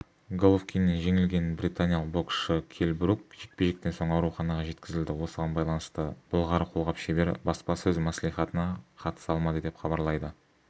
головкиннен жеңілген британиялық боксшы келл брук жекпе-жектен соң ауруханаға жеткізілді осыған байланысты былғары қолғап шебері баспасөз мәслихатына қатыса алмады деп хабарлайды